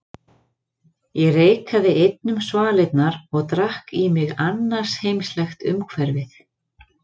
Ég reikaði einn um svalirnar og drakk í mig annarsheimslegt umhverfið.